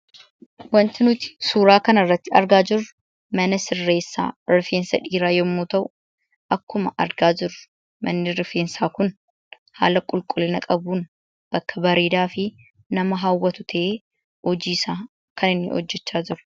Wanti nuti suuraa kana irratti argaa jirru mana sirreessaa rifeensa dhiiraa yemmuu ta'u, akkuma argaa jirru manni rifeensaa kun haala qulqullina qabuun bakka bareedaafi nama hawwatu ta'een hojii isaa kan inni hojjechaa jiru.